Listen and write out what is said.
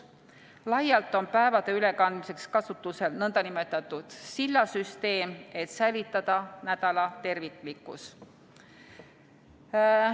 Laialt on päevade ülekandmiseks kasutusel nn sillasüsteem, et säilitada nädala terviklikkus.